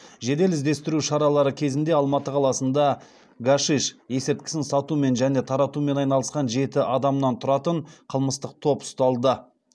жедел іздестіру шаралары кезінде алматы қаласында гашиш есірткісін сатумен және таратумен айналысқан жеті адамнан тұратын қылмыстық топ ұсталды